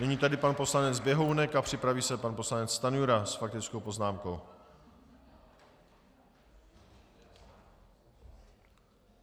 Nyní tedy pan poslanec Běhounek a připraví se pan poslanec Stanjura s faktickou poznámkou.